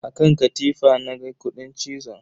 A kan katifa na ga kudin cizon.